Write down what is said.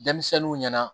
Denmisɛnninw ɲɛna